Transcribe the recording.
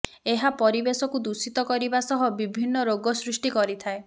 ଏହା ପରିବେଶକୁ ଦୂଷିତ କରିବା ସହ ବିଭିନ୍ନ ରୋଗ ସୃଷ୍ଟି କରିଥାଏ